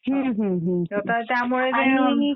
हां. आता त्यामुळे